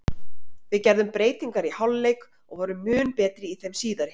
Við gerðum breytingar í hálfleik og vorum mun betri í þeim síðari.